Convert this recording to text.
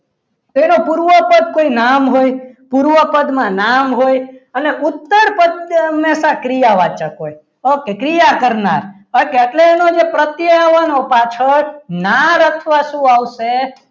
તેનું પૂર્વતર કોઈ નામ હોય પૂર્વ પદમાં નામ હોય અને ઉત્તરપદ હંમેશા ક્રિયા વાચક હોય okay ક્રિયા કરનાર okay એટલે એનો જે પ્રત્યયનો પાછળ નામ અથવા શું આવશે.